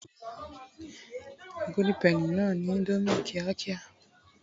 golden penny na ni Indomie kiakia